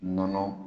Nɔnɔ